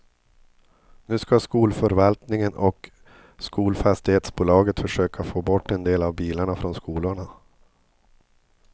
Nu ska skolförvaltningen och skolfastighetsbolaget försöka få bort en del av bilarna från skolorna.